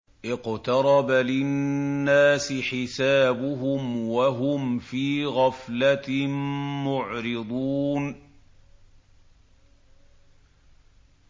اقْتَرَبَ لِلنَّاسِ حِسَابُهُمْ وَهُمْ فِي غَفْلَةٍ مُّعْرِضُونَ